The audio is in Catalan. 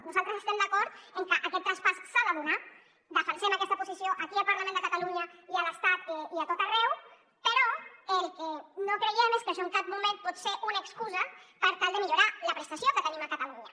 nosaltres estem d’acord en que aquest traspàs s’ha de donar defensem aquesta posició aquí al parlament de catalunya i a l’estat i a tot arreu però el que no creiem és que això en cap moment pot ser una excusa per tal de millorar la prestació que tenim a catalunya